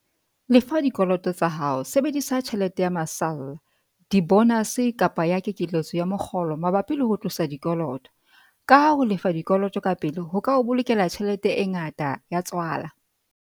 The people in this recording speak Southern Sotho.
Lefa dikoloto tsa hao - Sebedisa tjhelete ya masalla, dibonase kapa ya kekeletso ya mokgolo mabapi le ho tlosa dikoloto, kaha ho lefa dikoloto ka pele ho ka o bolokela tjhelete e ngata ya tswala.